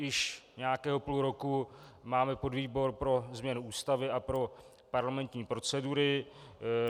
Již nějakého půl roku máme podvýbor pro změnu Ústavy a pro parlamentní procedury.